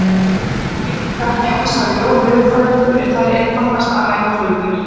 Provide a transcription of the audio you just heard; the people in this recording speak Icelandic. Við vitum það ekki enn sagði Jón veðurfræðingur, en það er einfaldast að ræna flugvél